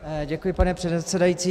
Děkuji, pane předsedající.